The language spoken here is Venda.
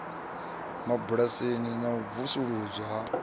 mabulasini na u pfuluswa ha